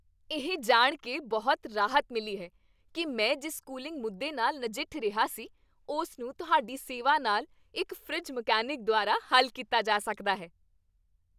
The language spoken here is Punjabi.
ਇਹ ਜਾਣ ਕੇ ਬਹੁਤ ਰਾਹਤ ਮਿਲੀ ਹੈ ਕਿ ਮੈਂ ਜਿਸ ਕੂਲਿੰਗ ਮੁੱਦੇ ਨਾਲ ਨਜਿੱਠ ਰਿਹਾ ਸੀ, ਉਸ ਨੂੰ ਤੁਹਾਡੀ ਸੇਵਾ ਨਾਲ ਇੱਕ ਫਰਿੱਜ ਮਕੈਨਿਕ ਦੁਆਰਾ ਹੱਲ ਕੀਤਾ ਜਾ ਸਕਦਾ ਹੈ।